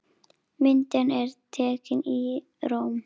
Myndin er tekin í Róm.